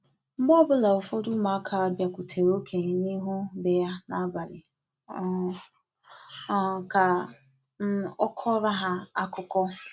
Mgbe ọbula ụfọdụ ụmụaka biakwutere okenye n’ihu be ya n'abali um um ka um ọ kọọrọ ha akụkọ